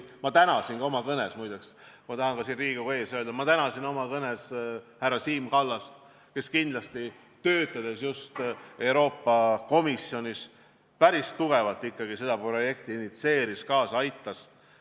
Ma tahan ka siin Riigikogu ees öelda, et ma tänasin oma kõnes härra Siim Kallast, kes kindlasti, töötades just Euroopa Komisjonis, päris tugevalt ikkagi seda projekti initsieeris, sellele kaasa aitas.